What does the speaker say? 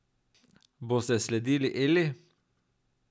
Boste sledili Eli?